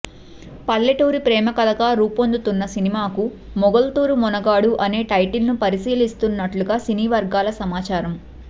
పల్లెటూరి ప్రేమకథగా రూపొందుతున్న సినిమాకు మొగల్తూరు మొనగాడు అనే టైటిల్ ని పరిశీలిస్తున్నట్లుగా సినీ వర్గాల సమాచారం